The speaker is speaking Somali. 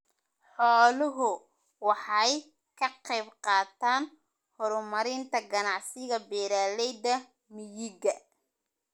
Xooluhu waxay ka qayb qaataan horumarinta ganacsiga beeralayda miyiga.